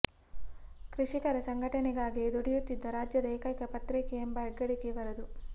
ಕೃಷಿಕರ ಸಂಘಟನೆಗಾಗಿ ದುಡಿಯುತ್ತಿದ್ದ ರಾಜ್ಯದ ಏಕೈಕ ಪತ್ರಿಕೆ ಎಂಬ ಹೆಗ್ಗಳಿಕೆ ಇದರದು